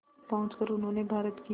पहुंचकर उन्होंने भारत की